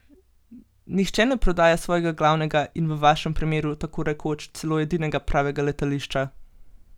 Nihče ne prodaja svojega glavnega in v vašem primeru tako rekoč celo edinega pravega letališča!